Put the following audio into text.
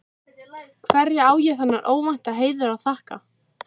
Hverju á ég þennan óvænta heiður að þakka?